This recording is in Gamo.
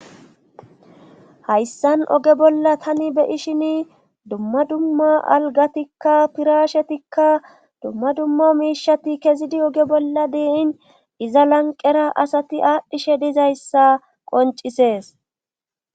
Hayssan oge bolla tani be ishini dumma dumma algatikka pirashetikka dumma dumma miishati kezidi oge bolla diiin iza lanqera asati aadhdhishe dizayssa qoncisees.